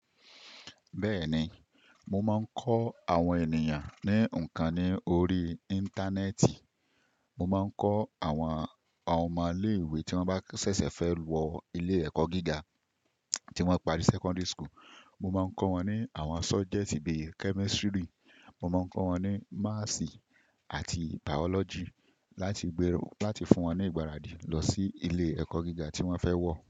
Bẹ́ẹ̀ni, mo máa ń kọ́ àwọn ènìyàn ní ǹkan ní orí Íńtánẹ́ẹ̀tì. Mo máa ń kọ́ àwọn ọmọ ilé ìwé tí wọ́n bá ṣẹ̀ṣẹ̀ fẹ́ wọ ilé ẹ̀kọ́ gíga tí wọ́n parí Secondary School. Mo máa ń kọ́ wọn ní àwọn subject bíí Chemistry. Mo máa ń kọ́ wọn ní Maths àti Biology láti gbèrò láti fún wọn ní ìgbáradì lọ sí ilé ẹ̀kọ́ gíga tí wọ́n fẹ́ wọ̀.